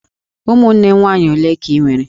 Ụmụnne nwaanyị ole ka I nwere?